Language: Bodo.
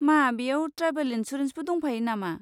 मा बेयाव ट्राभेल इन्सुरेन्सबो दंफायो नामा?